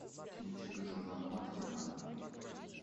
кинчик джона мактирнана